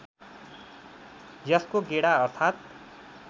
यसको गेडा अर्थात्